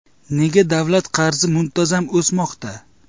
Nega davlat qarzi muntazam o‘smoqda?